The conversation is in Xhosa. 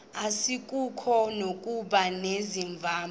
asikuko nokuba unevumba